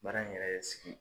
Baara in yɛrɛ sigi